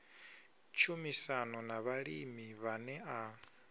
tshumisano na vhalimi vhane a